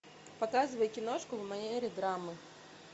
показывай киношку в манере драмы